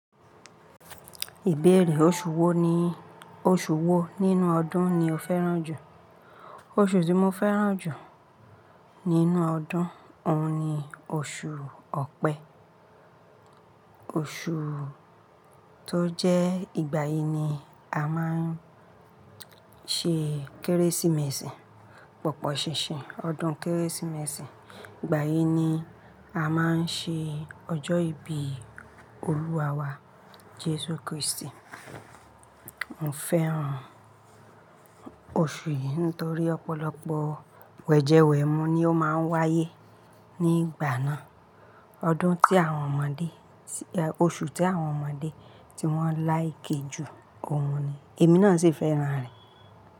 Ìbéèrè òṣù wò ní òṣù wò nínú ọdún ni o fẹ́ràn jù? Oṣù tí mo fẹ́ràn jù nínú ọdún òun ni oṣù Ọ̀pẹ. Oṣù tó jẹ́ ìgbà yìí ni a máa ń ṣe Kérésìmesì, pọ̀pọ̀ ṣìnṣìn ọdún Kérésìmesì. Ìgbà yìí ni a máa ń ṣe ọjọ́ ìbí olúwa wa Jesu Kristi. Mo fẹ́ràn oṣù yìí nítorí ọ̀pọ̀lọpọ̀ wẹ̀jẹwẹ̀mu ni ó máa ń wáyé nígbà náà, odun ti awon omode Oṣù tí àwọn ọmọdé tí wọ́n láì ke ju òun ni, èmi náà sì fẹ́ràn rẹ̀.